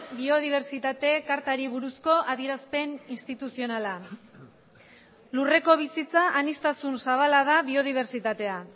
biodibertsitate kartari buruzko adierazpen instituzionala lurreko bizitza aniztasun zabala da biodibertsitatea